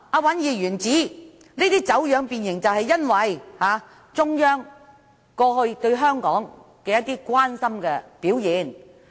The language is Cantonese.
尹議員之所以說走樣和變形，可能是因為中央過去對香港的一些關心表現。